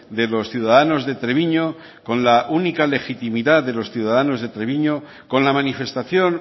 de los ciudadanos de treviño con la única legitimidad de los ciudadanos de treviño con la manifestación